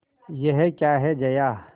यह क्या है जया